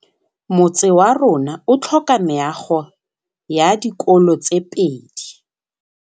Motse warona o tlhoka meago ya dikolô tse pedi.